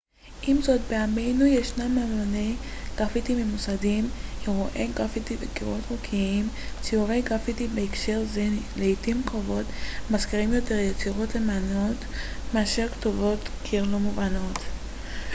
עם זאת בימינו ישנם אמני גרפיטי ממוסדים אירועי גרפיטי וקירות חוקיים ציורי גרפיטי בהקשר זה לעיתים קרובות מזכירים יותר יצירות אמנות מאשר כתובות קיר לא מובנות